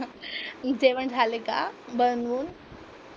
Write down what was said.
जेवण झाले का बनवून?